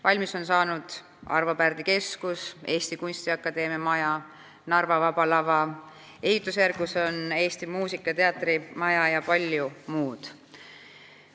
Valmis on saanud Arvo Pärdi Keskus, Eesti Kunstiakadeemia maja, Narva Vaba Lava, ehitusjärgus on Eesti muusika ja teatri maja ja palju muud.